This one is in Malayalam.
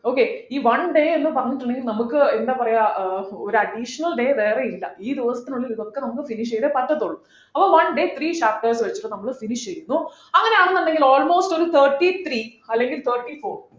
okay ഈ one day എന്ന് പറഞ്ഞിട്ടുണ്ടെങ്കി നമുക്ക് എന്താ പറയാം ആഹ് ഒരു additional day വേറെയില്ല ഈ ദിവസത്തിനുള്ളിൽ ഇതൊക്കെ നമ്മക്ക് finish ചെയ്തേ പറ്റത്തുള്ളൂ അപ്പോ one day three chapters വെച്ചിട്ടു നമ്മൾ finish ചെയ്യുന്നു അങ്ങനെയാണെന്നുണ്ടെങ്കിൽ almost ഒരു thirty three അല്ലെങ്കിൽ thirty four